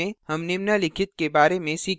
इस tutorial में हम निम्नलिखित के बारे में सीखेंगे: